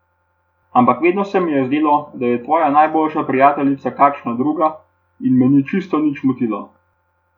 Ampak vedno se mi je zdelo, da je tvoja najboljša prijateljica kakšna druga, in me ni čisto nič motilo.